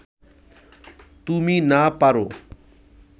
তুমি না পার